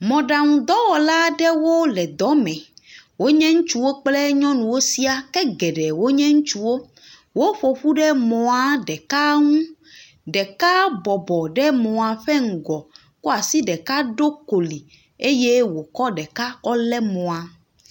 Mɔɖaŋudɔwɔla aɖewo le dɔ me, wonye ŋutsuwo kple nyɔnuwo siaa ke wo dometɔ geɖe nye ŋutsuwo. Woƒo ƒu ɖe mɔa ɖeka ŋu, ɖeka bɔbɔ ɖe mɔa ƒe ŋgɔ kɔ asi ɖeka ɖo koli eye wòkɔ ɖeka kɔ lé mɔa.